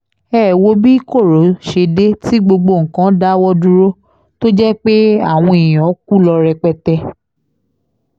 ẹ ẹ wo bí koro ṣe dé tí gbogbo nǹkan dáwọ́ dúró tó jẹ́ pé àwọn èèyàn kú ló rẹpẹtẹ ni